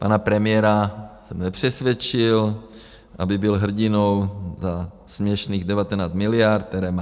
Pana premiéra jsem nepřesvědčil, aby byl hrdinou za směšných 19 miliard, které má.